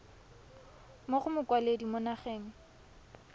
mo go mokwaledi mo nageng